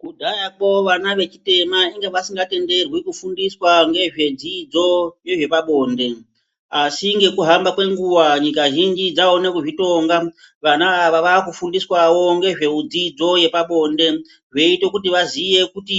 Kudhaya ko vana vechitema vanga vasinga tenderwi kudzidziswa ngezvedzidzo yezvepabonde asi ngekuhamba kwenguva nyika zhinji dzaone kuzvitonga vana ava vakufundiswawo ngezvedzidzo yepabonde zveite kuti vaziye kuti